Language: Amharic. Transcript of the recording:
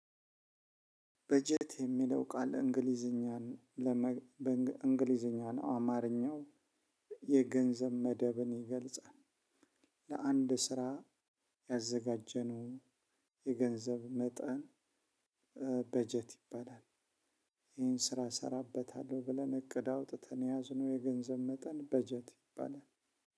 በጀት የሚለው ቃል እንግሊዘኛን እንግሊዝኛ ነው አማርኛው የገንዘብ መደብን ይገልጻል። ለአንድ ስራ ያዘጋጀነው የገንዘብ መጠን በጀት ይባላል። ይሄን ስራ እሰራበታለሁ ብለን እቅድ አውጥተን የያዝነው የገንዘብ መጠን በጀት ይባላል።